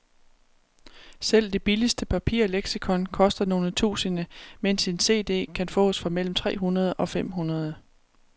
Selv det billigste papirleksikon koster nogle tusinde, mens en cd kan fås for mellem tre hundrede og fem hundrede.